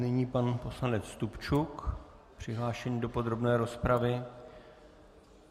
Nyní pan poslanec Stupčuk, přihlášený do podrobné rozpravy.